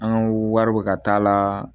An ka wari bɛ ka t'a la